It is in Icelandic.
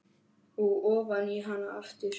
Og ofan í hana aftur.